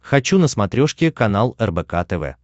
хочу на смотрешке канал рбк тв